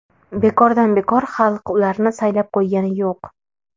Bekordan bekor xalq ularni saylab qo‘ygani yo‘q.